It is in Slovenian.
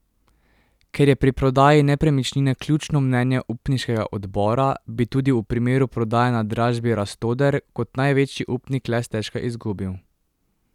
Ker je pri prodaji nepremičnine ključno mnenje upniškega odbora, bi tudi v primeru prodaje na dražbi Rastoder kot največji upnik le stežka izgubil.